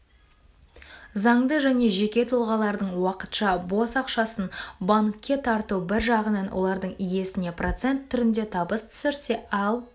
заңды және жеке тұлғалардың уақытша бос ақшасын банкке тарту бір жағынан олардың иесіне процент түрінде табыс түсірсе ал